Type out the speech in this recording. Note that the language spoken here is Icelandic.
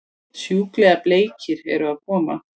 Sjúklega bleikir eru að koma!